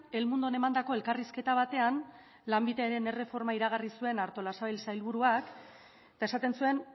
el mundon emandako elkarrizketa batean lanbideren erreforma iragarri zuen artolazabal sailburuak eta esaten zuen